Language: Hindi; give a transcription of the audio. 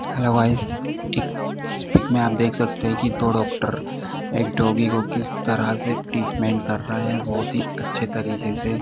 हेलो गाइस पिक्स- पिक में आप देख सकते हैं कि दो डोक्टर एक डाॅगी को किस तरह से ट्रीटमेंट कर रहे हैं बहुत ही अच्छे तरीके से।